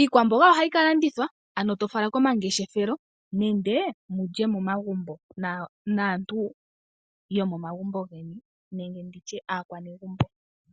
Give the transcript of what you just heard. Iikwamboga ohayi ka landithwa, ano to fala komangeshefelo nenge wu lye megumbo naanegumbo.